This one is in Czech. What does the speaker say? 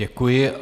Děkuji.